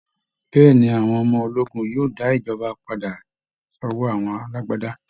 Bẹ́ẹ̀ ni, àwọn ọmọ ológun yóò dá ìjọba padà sọ́wọ́ àwọn alágbádá